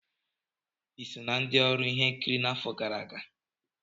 Ị so na ndị ọrụ ihe nkiri n'afọ gara aga?